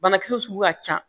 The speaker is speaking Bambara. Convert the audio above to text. Banakisɛ sugu ka ca